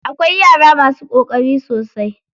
Akwai yara masu ƙoƙari sosai.